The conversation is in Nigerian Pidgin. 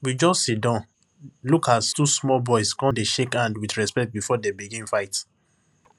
we just dey siddon look as two small boys come dey shake hand with respect before dem begin fight